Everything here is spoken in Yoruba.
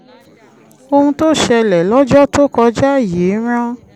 ohun tó ṣẹlẹ̀ lọ́jọ́ tó kọjá yìí rán